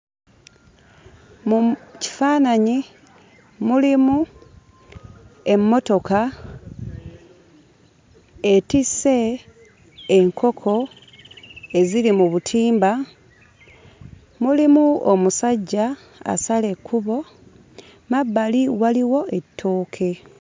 Mu kifaananyi mulimu emmotoka etisse enkoko eziri mu butimba, mulimu omusajja asala ekkubo, mmabbali waliwo ettooke.